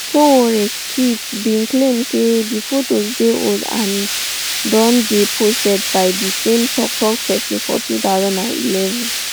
sowore tweet bin claim say di fotos dey old and don dey posted by di same toktok pesin for two thousand and eleven